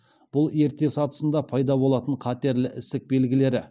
бұл ерте сатысында пайда болатын қатерлі ісік белгілері